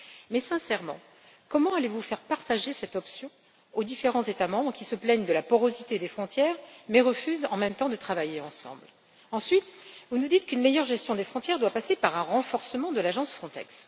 Cela dit, sincèrement, comment allez vous faire partager cette option aux différents États membres qui se plaignent de la porosité des frontières, mais qui, en même temps, refusent de travailler ensemble? Ensuite, vous nous dites qu'une meilleure gestion des frontières doit passer par un renforcement de l'agence Frontex.